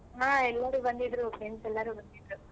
ಹಾ ಎಲ್ಲರೂ ಬಂದಿದ್ರು friends ಎಲ್ಲಾರು ಬಂದಿದ್ರು.